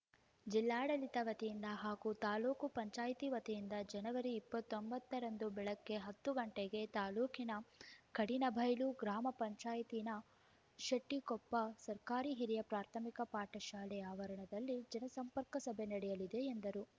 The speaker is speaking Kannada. ಜಿಲ್ಲಾಡಳಿತ ವತಿಯಿಂದ ಹಾಗೂ ತಾಲೂಕ್ ಪಂಚಾಯತಿ ವತಿಯಿಂದ ಜನವರಿ ಇಪ್ಪತ್ತೊಂಬತ್ತರಂದು ಬೆಳಗ್ಗೆ ಹತ್ತು ಗಂಟೆಗೆ ತಾಲೂಕಿನ ಕಡಹಿನಬೈಲು ಗ್ರಾಮ ಪಂಚಾಯತಿನ ಶೆಟ್ಟಿಕೊಪ್ಪ ಸರ್ಕಾರಿ ಹಿರಿಯ ಪ್ರಾಥಮಿಕ ಪಾಠ ಶಾಲೆ ಆವರಣದಲ್ಲಿ ಜನಸಂಪರ್ಕ ಸಭೆ ನಡೆಯಲಿದೆ ಎಂದರು